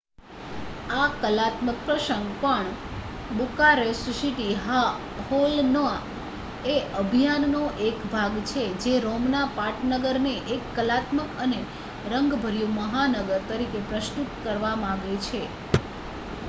આ કલાત્મક પ્રસંગ પણ બુકારેસ્ટ સીટી હોલ ના એ અભિયાન નો ભાગ છે જે રોમના પાટનગરને એક કલાત્મક અને રંગભર્યુ મહાનગર તરીકે પ્રસ્તુત કરવા માંગે છે